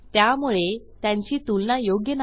त्यामुळे त्यांची तुलना योग्य नाही